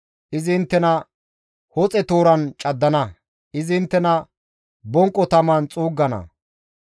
Izi inttena hoxe tooran caddana; izi inttena bonqo taman xuuggana.